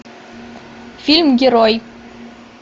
фильм герой